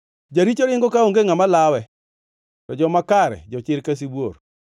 Jaricho ringo kaonge ngʼama lawe, to joma kare jochir ka sibuor.